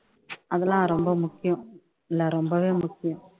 அதெல்லாம் ரொம்ப முக்கியம் இல்ல ரொம்பவே முக்கியம்